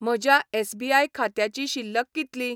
म्हज्या एस.बी.आय. खात्याची शिल्लक कितली?